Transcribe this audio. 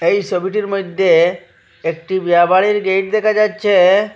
এই সবিটির মইদ্যে একটি বিয়া বাড়ির গেট দেখা যাচ্ছে।